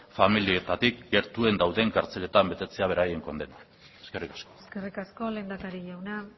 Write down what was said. familietatik gertuen dauden kartzeletan betetzea beraien kondena eskerrik asko eskerrik asko lehendakari jauna